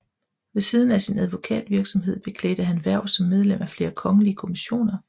Ved siden af sin advokatvirksomhed beklædte han hverv som medlem af flere kongelige kommissioner